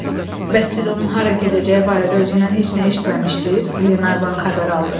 Bəs siz onun hara gedəcəyi barədə özündən heç nə eşitməmişdiz, Qlenarvan xəbər aldı.